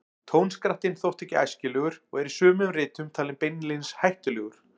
Tónskrattinn þótti ekki æskilegur og er í sumum ritum talinn beinlínis hættulegur.